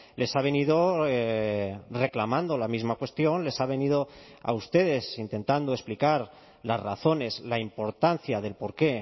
les ha venido reclamando la misma cuestión les ha venido a ustedes intentando explicar las razones la importancia del porqué